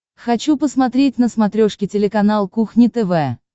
хочу посмотреть на смотрешке телеканал кухня тв